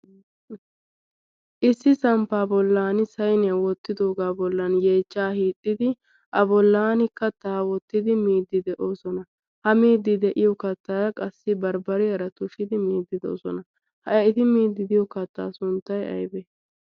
issi samppaa bollan sainiyaa woottidoogaa bollan yeechcha hixxidi a bolan kattaa wottidi miiddi de'oosona . ha miiddi de'iyo kattaa qassi barbbari aratushidi miiddi de'osona. ha miiddi diyo kattaa sunttay aybee?